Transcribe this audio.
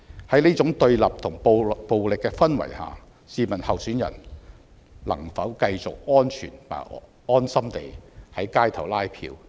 在這種對立和暴力的氛圍下，試問候選人能否繼續安全和安心地在街頭拉票？